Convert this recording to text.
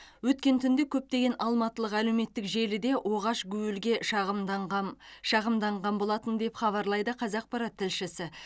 өткен түнде көптеген алматылық әлеуметтік желіде оғаш гуілге шағымданған шағымданған болатын деп хабарлайды қазақпарат тілшісі